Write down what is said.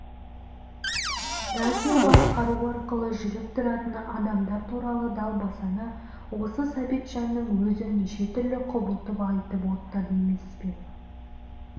радио басқару арқылы жүріп тұратын адамдар туралы далбасаны осы сәбитжанның өзі неше түрлі құбылтып айтып оттады емес пе